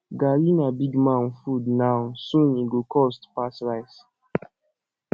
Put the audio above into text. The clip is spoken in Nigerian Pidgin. garri na big man food now soon e go cost pass rice